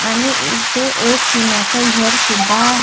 आणि इथे एक टिना चं घर सुद्धा आहे.